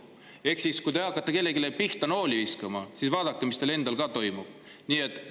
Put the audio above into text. Ehk siis enne, kui te hakkate kellegi pihta nooli viskama, vaadake, mis teil endal toimub.